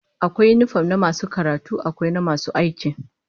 Akwai yinifom na masu karatu, akwai na masu aiki